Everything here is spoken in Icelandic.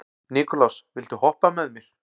Nikulás, viltu hoppa með mér?